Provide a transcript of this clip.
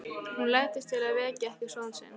Hún læddist til að vekja ekki son sinn.